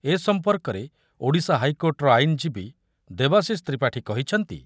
ଏ ସମ୍ପର୍କରେ ଓଡିଶା ହାଇକୋର୍ଟର ଆଇନଜୀବୀ ଦେବାଶିଷ ତ୍ରିପାଠୀ କହିଛନ୍ତି